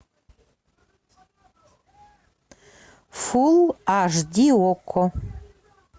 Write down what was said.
фул аш ди окко